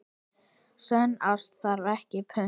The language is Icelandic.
Sönn ást þarf ekkert punt.